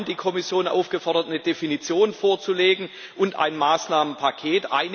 Wir haben die Kommission aufgefordert, eine Definition vorzulegen und ein Maßnahmenpaket.